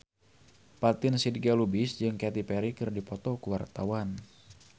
Fatin Shidqia Lubis jeung Katy Perry keur dipoto ku wartawan